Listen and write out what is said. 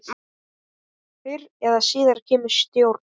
Fyrr eða síðar kemur stjórn.